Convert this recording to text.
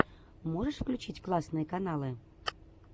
можешь включить классные каналы